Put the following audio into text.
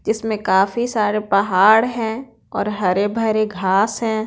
जिसमें काफी सारे पहाड़ हैं और हरे भरे घास हैं।